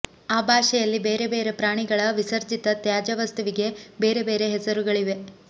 ಆ ಭಾಷೆಯಲ್ಲಿ ಬೇರೆ ಬೇರೆ ಪ್ರಾಣಿಗಳ ವಿಸರ್ಜಿತ ತ್ಯಾಜ್ಯವಸ್ತುವಿಗೆ ಬೇರೆ ಬೇರೆ ಹೆಸರುಗಳಿವೆ